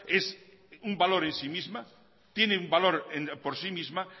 es un valor en sí misma tiene un valor por sí misma